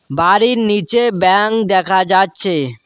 বাড়ির নীচে ব্যাঙ্ক দেখা যাচ্ছে।